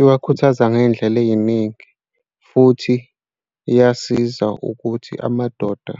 Iwakhuthaza ngey'ndlela ey'ningi futhi iyasiza ukuthi amadoda